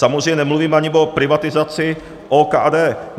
Samozřejmě nemluvím ani o privatizaci OKD.